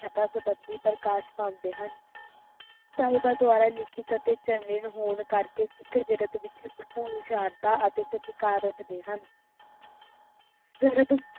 ਮਹਿਲਾ ਸੰਬੰਧੀ ਪ੍ਰਕਾਸ਼ ਪਾਉਂਦੇ ਹਨ ਸਾਹਿਬ ਦੁਆਰਾ ਲਿਖਿਤ ਅਤੇ ਚਰਨੀਤ ਹੋਣ ਕਰਕੇ ਸਿੱਖ ਜਗਤ ਵਿਚ ਭਰਪੂਰ ਉਚਾਰਤਾ ਅਤੇ ਸਤਿਕਾਰ ਰੱਖਦੇ ਹਨ